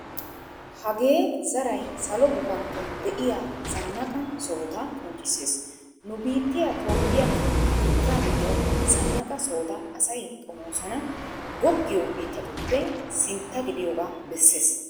Hagee zaray Salo gufantton de'iya zannaqa sohota qonccissees. Nu biittiya Toophphiyakka Afirkkaa giddon zanaqa sohota asay xomoosana goggiyo biitatuppe sintta gidiyogaa bessees